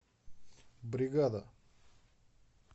бригада